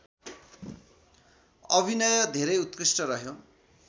अभिनय धेरै उत्कृष्ट रह्यो